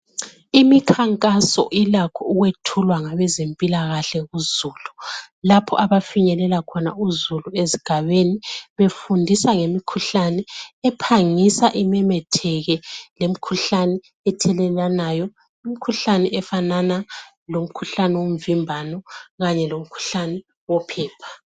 Imikhankaso ilakho ukwethulwa ngabezempilakahle ku Zulu. Lapho abafinyelela khona uzulu esigabeni befundisa ngemikhuhlane ephangisa imemetheke, lemikhuhlane ethelelwanayo, imikhuhlane efanana lomkhuhlane womvimbano kanye komkhuhlane wophepha.